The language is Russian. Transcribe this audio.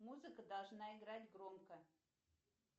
музыка должна играть громко